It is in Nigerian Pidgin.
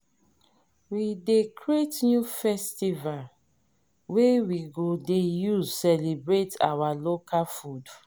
we dey create new festival wey we go dey use celebrate our local food.